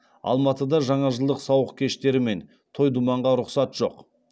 алматыда жаңажылдық сауық кештері мен той думанға рұқсат жоқ